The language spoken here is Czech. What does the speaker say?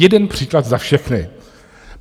Jeden příklad za všechny.